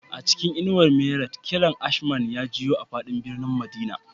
A cikin inuwar minarat, kiran ashman ya jiyo a fadin birnin madina